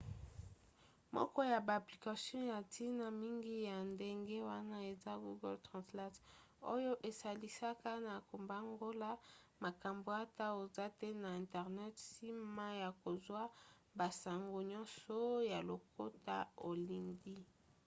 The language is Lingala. moko ya ba application ya ntina mingi ya ndenge wana eza google translate oyo esalisaka na kobongola makambo ata oza te na internet nsima ya kozwa basango nyonso ya lokota olingi